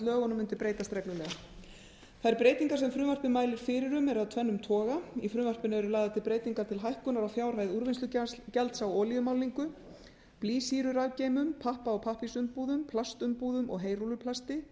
lögunum mundi breytast reglulega þær breytingar sem frumvarpið mælir fyrir um eru af tvennum toga í frumvarpinu eru lagðar til breytingar til hækkunar á fjárhæð úrvinnslugjalds á olíumálningu blýsýrurafgeymum pappa og pappírsumbúðum plastumbúðum og heyrúlluplasti